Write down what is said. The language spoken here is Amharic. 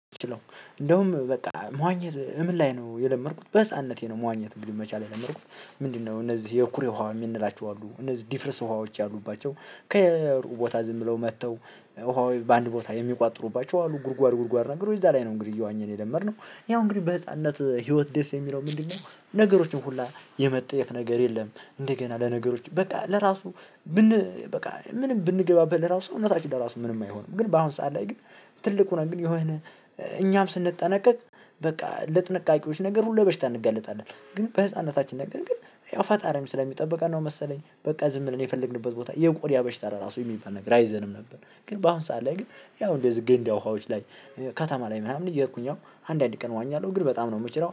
እንደውም በቃ መዋኘት ምን ላይ ነው የለመድኩት በህፃንነቴ ነው መዋኘት እንግዲህ መቻል የለመድኩት ምንድነው? እነዚህ የኩሬ ውሃ የምንላቸው አሉ እነዚህ ድፍርስ ውሃዎች ያሉባቸው ከሩቁ ቦታ ዝም ብለው መጥተው ውሃው በአንድ ቦታ የሚቋጥሩባቸው አሉ ጉድጓድ ጉድጓድ ነገሮች እዛ ላይ ነው እንግዲህ እየዋኘን የለመድነው። ያው እንግዲህ በህፃንነት ህይወት ደስ የሚለው ምንድነው? ነገሮችን ሁላ የመጠየፍ ነገር የለም። እንደገና ለነገሮች በቃ ለራሱ ብን በቃ ምንም ብንገባበት ለራሱ እውነታችን ለራሱ ምንም አይሆንም። ግን በአሁን ሰዓት ላይ ግን ትልቁ ነው። ግን የሆነ እኛም ስንጠነቀቅ በቃ ለጥንቃቄዎች ነገር ሁሉ ለበሽታ እንጋለጣለን ግን በህፃንነታችን ነገር ግን ያው ፈጣሪም ስለሚጠብቃን ነው። መሰለኝ በቃ ዝም ብለን የፈለግንበት ቦታ የቆዳ በሽታ ራሱ የሚባል ነገር አይዘንም ነበር። ግን በአሁን ሰዓት ላይ ግን ያው እንደዚህ ገንዳ ውሃዎች ላይ ከተማ ላይ ምናምን የእየኼድኩኝ አሁን አንድ አንድ ቀን እዋኛለው። ግን በጣም ነው የምችለው